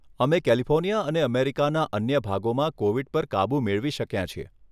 અમે કેલિફોર્નિયા અને અમેરિકાના અન્ય ભાગોમાં કોવીડ પર કાબૂ મેળવી શક્યાં છીએ.